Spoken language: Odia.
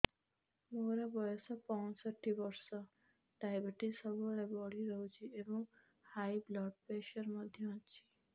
ମୋର ବୟସ ପଞ୍ଚଷଠି ବର୍ଷ ଡାଏବେଟିସ ସବୁବେଳେ ବଢି ରହୁଛି ଏବଂ ହାଇ ବ୍ଲଡ଼ ପ୍ରେସର ମଧ୍ୟ ଅଛି